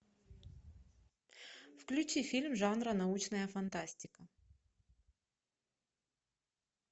включи фильм жанра научная фантастика